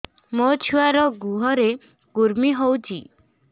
ମୋ ଛୁଆର୍ ଗୁହରେ କୁର୍ମି ହଉଚି